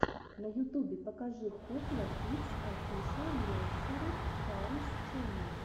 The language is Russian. на ютубе покажи хупла кидс офишэл нерсери раймс ченнел